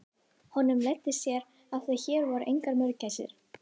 Honum leiddist hér af því að hér voru engar mörgæsir.